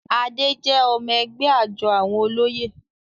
Adé jẹ́ ọmọ-ẹgbẹ́ àjọ àwọn olóyè.